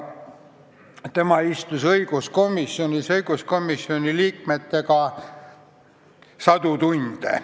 Tema istus õiguskomisjonis õiguskomisjoni liikmetega sadu tunde.